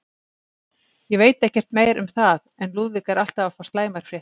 Ég veit ekkert meira um það, en Lúðvík er alltaf að fá slæmar fréttir.